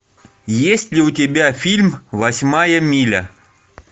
есть ли у тебя фильм восьмая миля